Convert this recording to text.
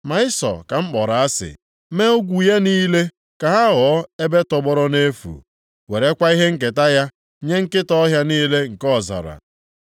ma Ịsọ ka m kpọrọ asị, mee ugwu ya niile ka ha ghọọ ebe tọgbọrọ nʼefu, werekwa ihe nketa ya nye nkịta ọhịa niile nke ọzara.”